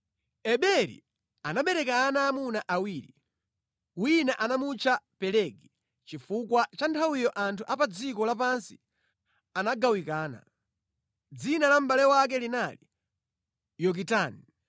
Eberi anabereka ana aamuna awiri: wina anamutcha Pelegi, chifukwa pa nthawiyo anthu a pa dziko lapansi anagawikana. Dzina la mʼbale wake linali Yokitani.